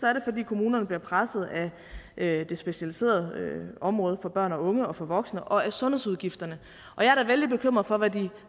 er det fordi kommunerne bliver presset af det specialiserede område for børn og unge og for voksne og af sundhedsudgifterne og jeg er da vældig bekymret for hvad de